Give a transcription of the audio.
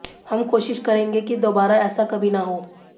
हम कोशिश करेंगे की दोबारा ऐसा कभी ना हो